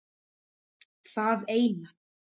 Það eina